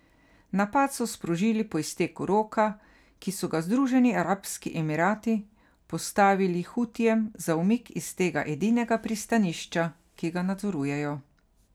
Napad so sprožili po izteku roka, ki so ga Združeni arabski emirati postavili Hutijem za umik iz tega edinega pristanišča, ki ga nadzorujejo.